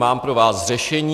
Mám pro vás řešení.